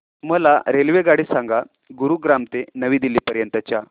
मला रेल्वेगाडी सांगा गुरुग्राम ते नवी दिल्ली पर्यंत च्या